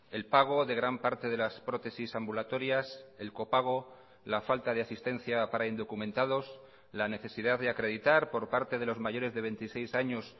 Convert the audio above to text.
el pago de gran parte de las prótesis ambulatorias el copago la falta de asistencia para indocumentados la necesidad de acreditar por parte de los mayores de veintiséis años